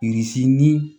ni